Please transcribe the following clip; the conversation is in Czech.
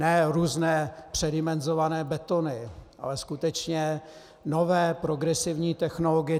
Ne různé předimenzované betony, ale skutečně nové progresivní technologie.